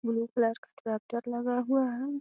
Blue colour का ट्रैक्टर लगा हुआ है।